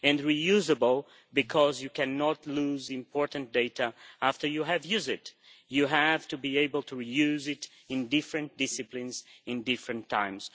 and reusable, because you cannot lose important data after you have used it, you have to be able to use it in different disciplines at different times.